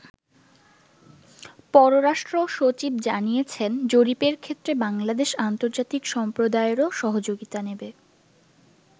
পররাষ্ট্র সচিব জানিয়েছেন, জরিপের ক্ষেত্রে বাংলাদেশ আন্তর্জাতিক সম্প্রদায়েরও সহযোগিতা নেবে।